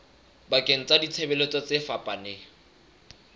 bakeng sa ditshebeletso tse fapaneng